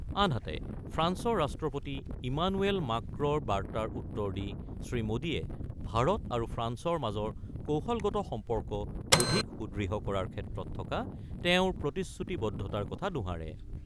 আনহাতে, ফ্ৰান্সৰ ৰাষ্ট্ৰপতি ইমানুৱেল মাঁক্ৰ'ৰ বাৰ্তাৰ উত্তৰ দি শ্ৰীমোদীয়ে ভাৰত আৰু ফ্ৰান্সৰ মাজৰ কৌশলগত সম্পৰ্ক অধিক সুদৃঢ় কৰাৰ ক্ষেত্ৰত থকা তেওঁৰ প্ৰতিশ্ৰুতিবদ্ধতাৰ কথা দোহাৰে।